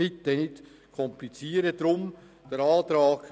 Bitte komplizieren Sie es nicht.